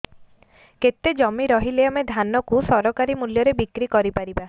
କେତେ ଜମି ରହିଲେ ଆମେ ଧାନ କୁ ସରକାରୀ ମୂଲ୍ଯରେ ବିକ୍ରି କରିପାରିବା